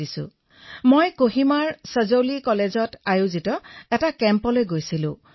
মই এই বছৰৰ জুন মাহত কহিমাৰ শ্বেজলি মহাবিদ্যালয়ত অনুষ্ঠিত কৰা যুটীয়া বাৰ্ষিক প্ৰশিক্ষণ শিবিৰলৈ গৈছিলো